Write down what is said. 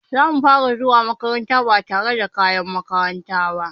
Zamu fara zuwa makaranta ba tare da kayan makaranta ba.